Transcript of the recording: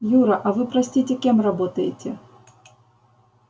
юра а вы простите кем работаете